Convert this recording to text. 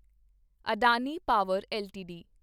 Adani power LTD